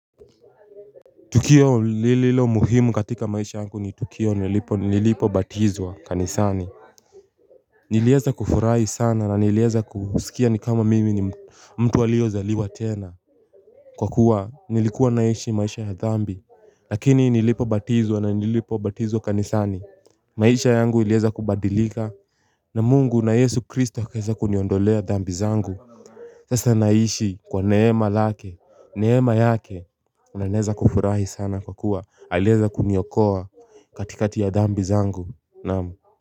Tukio lililo muhimu katika maisha yangu ni Tukio nilipo batizwa kanisani nilieza kufurahi sana na nilieza kusikia ni kama mimi ni mtu walio zaliwa tena Kwa kuwa nilikuwa naishi maisha ya dhambi lakini nilipo batizwa na nilipo batizwa kanisani maisha yangu ilieza kubadilika na mungu na yesu kristo akaeza kuniondolea dhambi zangu Sasa naishi kwa neema lake neema yake unaneza kufurahi sana kwa kuwa alieza kuniokoa katikati ya dambi zangu naam.